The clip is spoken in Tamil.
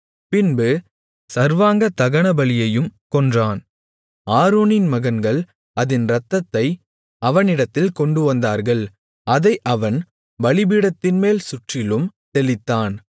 பின்பு சர்வாங்கதகனபலியையும் கொன்றான் ஆரோனின் மகன்கள் அதின் இரத்தத்தை அவனிடத்தில் கொண்டுவந்தார்கள் அதை அவன் பலிபீடத்தின்மேல் சுற்றிலும் தெளித்தான்